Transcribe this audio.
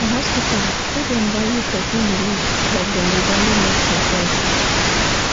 for hospital make dem value person belief like dem dey value medicine sense.